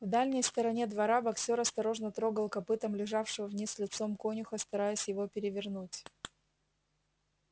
в дальней стороне двора боксёр осторожно трогал копытом лежавшего вниз лицом конюха стараясь его перевернуть